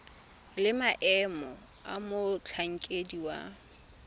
le maemo a motlhankedi wa